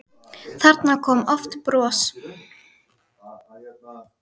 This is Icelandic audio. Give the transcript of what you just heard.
Þarna kom oft bros.